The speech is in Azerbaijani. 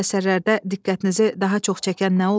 Bu əsərlərdə diqqətinizi daha çox çəkən nə olub?